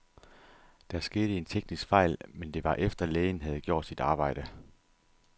Der skete en teknisk fejl, men det var efter, lægen havde gjort sit arbejde.